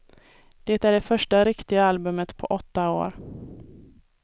Det är det första riktiga albumet på åtta år.